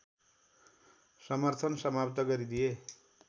समर्थन समाप्त गरिदिए